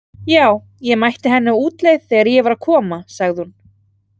Já, ég mætti henni á útleið þegar ég var að koma, sagði hún.